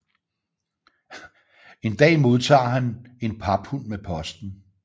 En dag modtager han en paphund med posten